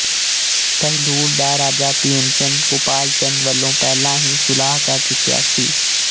ਕਹਿਲੂਰ ਦਾ ਰਾਜਾ ਭੀਮਚੰਦ ਕੁਪਾਲਚੰਦ ਵਲੋਂ ਪਹਿਲਾਂ ਹੀ ਸੁਲਾਹ ਕਰ ਚੁੱਕਿਆ ਸੀ